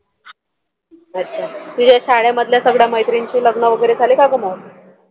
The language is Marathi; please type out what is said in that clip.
अच्छा तुझ्या शाळेमधील सर्व मैत्रिणींचे लग्न वैगेरे झाले का ग मग?